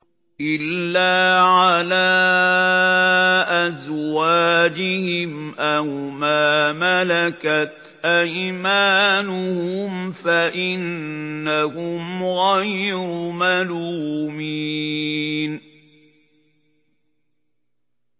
إِلَّا عَلَىٰ أَزْوَاجِهِمْ أَوْ مَا مَلَكَتْ أَيْمَانُهُمْ فَإِنَّهُمْ غَيْرُ مَلُومِينَ